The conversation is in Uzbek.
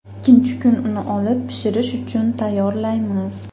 Ikkinchi kuni uni olib, pishirish uchun tayyorlaymiz.